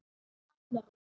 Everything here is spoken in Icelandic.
Arna Rós.